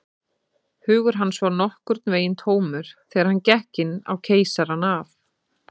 Hugur hans var nokkurn veginn tómur, þegar hann gekk inn á Keisarann af